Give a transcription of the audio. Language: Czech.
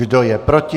Kdo je proti?